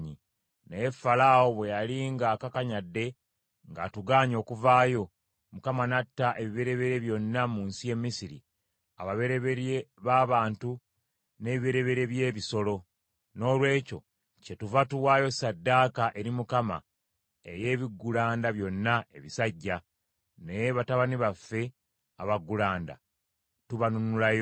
Naye Falaawo bwe yali ng’akakanyadde ng’atugaanye okuvaayo, Mukama n’atta ebibereberye byonna mu nsi y’e Misiri; ababereberye b’abantu n’ebibereberye by’ebisolo. Noolwekyo kyetuva tuwaayo ssaddaaka eri Mukama ey’ebiggulanda byonna ebisajja; naye batabani baffe abaggulanda tubanunulayo.’